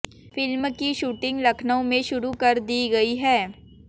film की shooting Lucknow में शुरू कर दी गई है